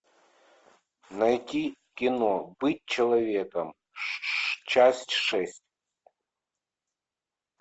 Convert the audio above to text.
найти кино быть человеком часть шесть